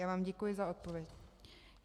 Já vám děkuji za odpověď.